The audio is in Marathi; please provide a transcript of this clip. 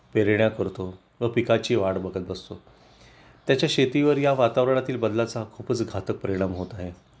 पेरण्या करतो व पिकाची वाट बघत बसतो त्याच्या शेतीवर या वातावरणातील बदलाचा खूपच घातक परिणाम होत आहे